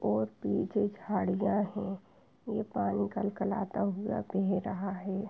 और पीछे झाड़ियाँ है ये पानी कलकलाता हुआ बेह रहा हैं।